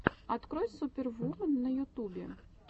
открой супервумен на ютубе